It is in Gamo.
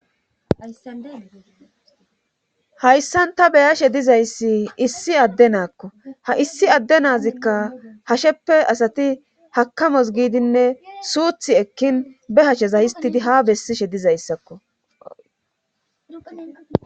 hayssan ta beyashe dizayssi issi adde naakko ha issi adde naazikka hasheppe asati hakamos giidinne suuthi ekkin be hashsheza histidi ha bessishe dizayssakko